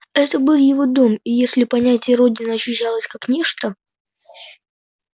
это был его дом и если понятие родина ощущалось как нечто